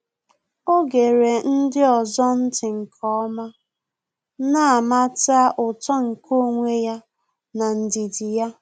Ọ́ gere ndị ọzọ̀ ntị́ nke ọ́ma, nà-àmàtà uto nke onwe ya n’ndidi ya.